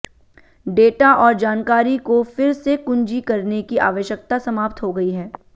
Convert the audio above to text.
data और जानकारी को फिर से कुंजी करने की आवश्यकता समाप्त हो गई है